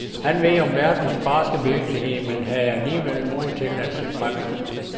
Han ved noget om verdens barske virkelighed men havde alligevel mod til at se fremad.